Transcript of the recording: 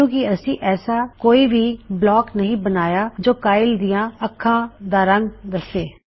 ਕਿੳਂ ਕਿ ਅਸੀ ਐਸਾ ਕੋਈ ਵੀ ਬਲੋਕ ਨਹੀ ਬਣਾਇਆ ਜੋ ਕਾਈਲ ਦਿਆਂ ਅਖਾਂ ਦਾ ਰੰਗ ਦਸੇ